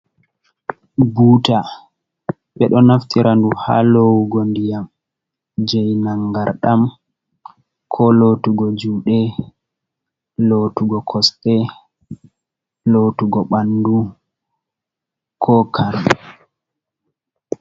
Buuta, ɓe ɗo naftira du, ha loowugo ndiyam, jee nanngarɗam, ko lootugo juuɗe, lootugo kosɗe, lootugo ɓanndu, ko kaf.